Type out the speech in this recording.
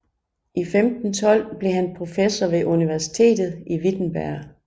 I 1512 blev han professor ved universitetet i Wittenberg